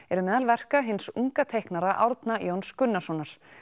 eru meðal verka hins unga teiknara Árna Jóns Gunnarssonar